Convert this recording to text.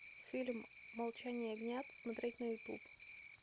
фильм молчание ягнят смотреть на ютуб